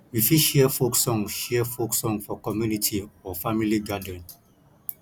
we fit share folk song share folk song for community or family gathering